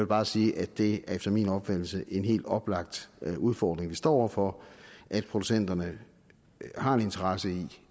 bare sige at det efter min opfattelse er en helt oplagt udfordring vi står over for at producenterne har en interesse i